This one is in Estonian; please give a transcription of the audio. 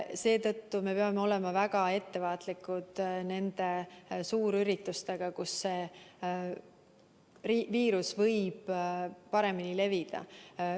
Seetõttu peame olema väga ettevaatlikud suurüritustega, kus viirus võib paremini levida.